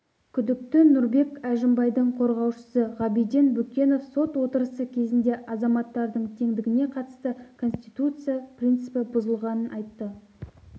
күдікті нұрбек әжімбайдың қорғаушысы ғабиден бүкенов сот отырысы кезінде азаматтардың теңдігіне қатысты конституция принципі бұзылғанын айтты